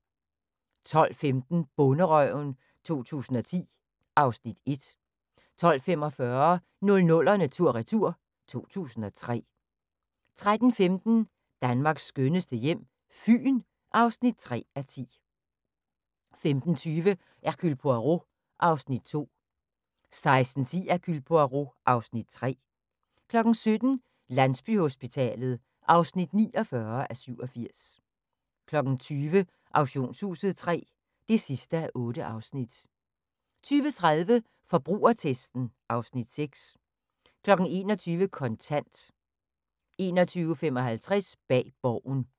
12:15: Bonderøven 2010 (Afs. 1) 12:45: 00'erne tur/retur: 2003 13:15: Danmarks skønneste hjem - Fyn (3:10) 15:20: Hercule Poirot (Afs. 2) 16:10: Hercule Poirot (Afs. 3) 17:00: Landsbyhospitalet (49:87) 20:00: Auktionshuset III (8:8) 20:30: Forbrugertesten (Afs. 6) 21:00: Kontant 21:55: Bag Borgen